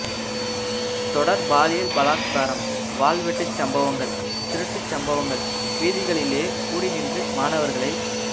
தொடர் பாலியல் பலாத்காரம் வாள்வெட்டுச் சம்பவங்கள் திருட்டு சம்பவங்கள் வீதிகளிலே கூடி நின்று மாணவர்களை